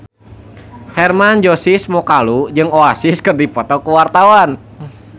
Hermann Josis Mokalu jeung Oasis keur dipoto ku wartawan